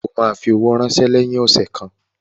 O ma fi owó ránsẹ́ lẹ́yìn ọ̀sẹ̀ kan